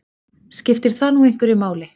Skiptir það nú einhverju máli?